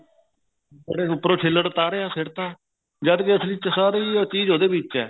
ਫੇਰ ਉੱਪਰੋ ਛੀਲੜ ਤਾਰਿਆ ਫੇਰ ਤਾਂ ਜਦ ਕਿ ਅਸਲੀ ਚੀਜ ਤਾਂ ਉਹਦੇ ਵਿੱਚ ਹੀ ਹੈ